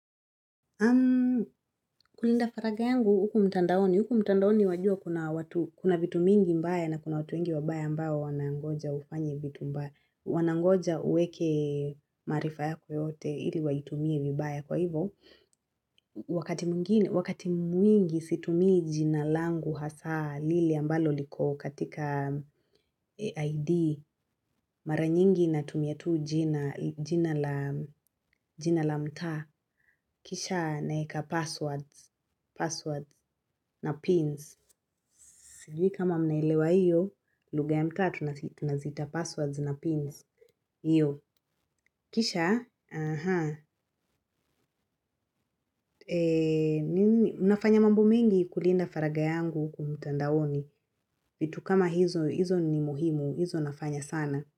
Kulinda faragha yangu huku mtandaoni, huku mtandaoni wajua kuna watu, kuna vitu mingi mbaya na kuna watu wengi wabaya ambao wanangoja ufanye vitu mbaya, wanangoja uweke marifa yako yote ili waitumie vibaya kwa hivo, wakati mwingi situmii jina langu hasa lile ambalo liko katika ID, mara nyingi natumia tu jina la jina la mtaa, kisha naweka passwords, Passwords na pins. Sijui kama mnailewa iyo lugha ya mtaa tunaziita passwords na pins hio. Kisha anhaa nafanya mambo mengi kulinda faragha yangu huku mtandaoni. Vitu kama hizo ni muhimu, hizo nafanya sana.